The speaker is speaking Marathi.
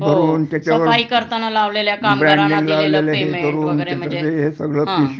हो सफाई करताना लावलेल्या कामगारांना दिलेलं पेमेंट वगैरे म्हणजे हं